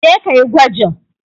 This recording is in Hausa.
Je ka yi gwajin!